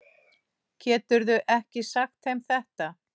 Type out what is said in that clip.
Geturðu ekki sagt þeim þetta.